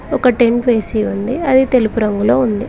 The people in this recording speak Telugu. ఒక టెంటు వేసి ఉంది అది తెలుపు రంగులో ఉంది.